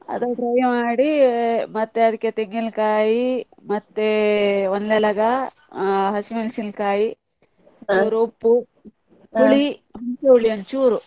ಅದನ್ನು dry ಮಾಡಿ ಮತ್ತೆ ಅದಕ್ಕೆ ತೆಂಗಿನಕಾಯಿ, ಮತ್ತೆ ಒಂದೆಲಗ, ಆ ಹಸಿಮೆಣಸಿನ ಕಾಯಿ, ಉಪ್ಪು ಉಪ್ಪು ಹುಳಿ ಒಂಚೂರು.